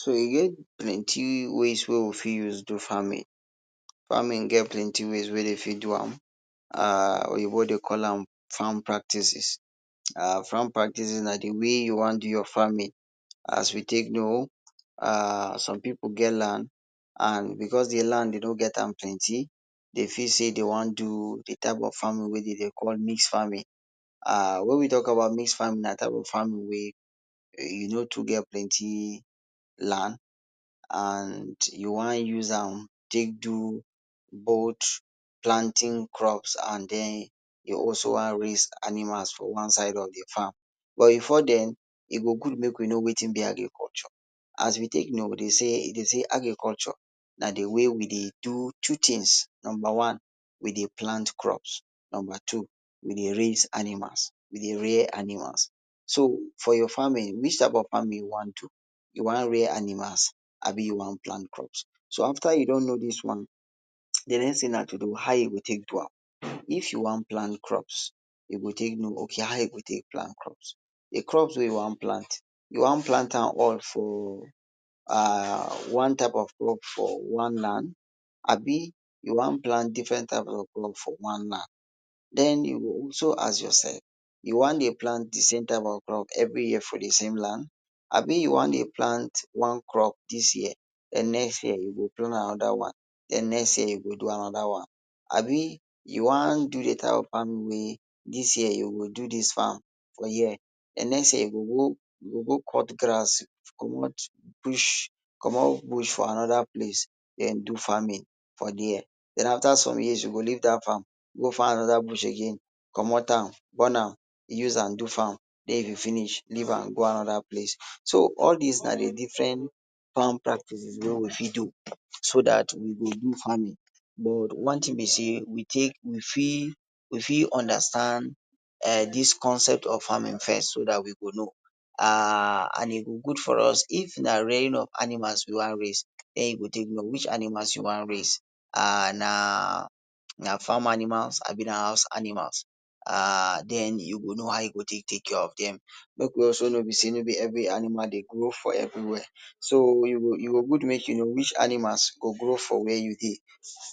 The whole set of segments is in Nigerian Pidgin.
So e get plenty ways wey we fit use do farming, farming get plenty ways wey dey fit do am um oyinbo dey call am farm practices um farm practices na d way wey you wan do your farming. As we take know some people get land and because d land dem no get am plenty dem fit say dey wan do d type of farming wey dem dey call mixed farming, wen we talk about mixed farming na farming wey e no too get plenty land den u wan use am do both planting crops and raising animals for one side of d farm but before den go good make we know wetin b agriculture, as we take know dem say agriculture na d way wey we dey take do two things numba one wey plant crops numba two we dey raise animals wey dey rear animals, so for your farming which type of farming you wan do you wan rear animals abi you wan plant crops. So after u don know dis one d next thing na to know how u go take do am, if you wan plant crops u go take know ok how u wan do am, d crop wey u wan plant, u wan plant one type for d land abi u wan plant different type of crop for one land den you go also ask yourself you wan dey plant d same type of crop every year for d same land abi u wan dey plant one crop dis year den next year u go bring another one den next year yo go do another one. Abi u wan do d farming wey dis year u go do dis one for here den next year you go go cut grass commot bush for another place den do farming for there den after some years you go leave dat place go find another bush again commot am burn am use am do farm leave am go another place. So all dis na different farm practice wey we fit do so dat we go do farming but one thing be say we fit understand dis concept of farming first so dat we go know and e go good for us, if na rearing of animals u wan raise den u go take know which animal u wan raise na farm animals abi na house animals um den u go know how u go take take care of dem. Make we also mow say no be every animal dey grow for everywhere, so e go good make u know which animals dey grow for where u dey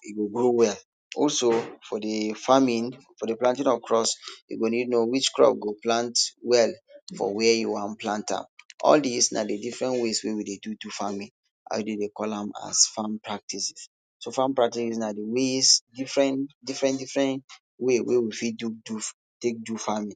e go grow well, also for d farming, for d planting of cro u go need know which crop go plant well for where u wan plant am, all dis na d fdifferent ways wey we dey do d farming and we dey call am as farm practices, so farm practices na d different different ways wey we fit do farming.